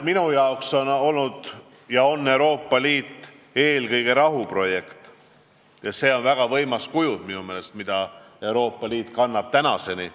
Minu jaoks aga on Euroopa Liit olnud eelkõige rahuprojekt ja see on väga võimas kujund, mida Euroopa Liit kannab tänaseni.